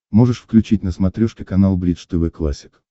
можешь включить на смотрешке канал бридж тв классик